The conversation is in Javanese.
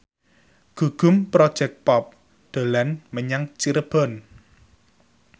Gugum Project Pop dolan menyang Cirebon